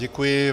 Děkuji.